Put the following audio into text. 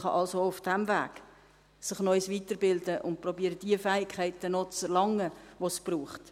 Man kann sich also auch auf diesem Weg noch weiterbilden und die Fähigkeiten, die es braucht, noch zu erlangen versuchen.